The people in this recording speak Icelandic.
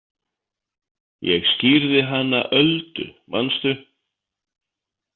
Ég skírði hana Öldu manstu.